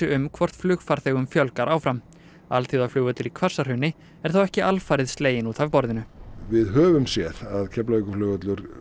um hvort flugfarþegum fjölgar áfram alþjóðaflugvöllur í Hvassahrauni er þó ekki alfarið sleginn út af borðinu við höfum séð að Keflavíkurflugvöllur